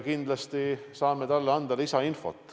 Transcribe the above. Kindlasti saame anda talle lisainfot.